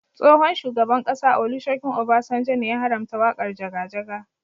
Tsohon shugaban ƙasa Olusegun Obasanjo ne ya haramta waƙar jaga jaga.